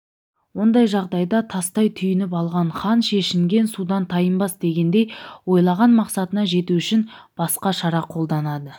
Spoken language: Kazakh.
ондай жағдайда тастай түйініп алған хан шешінген судан тайынбас дегендей ойлаған мақсатына жету үшін басқа шара қолданады